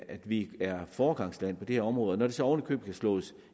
at vi er foregangsland på det her område og når det så oven i købet kan slås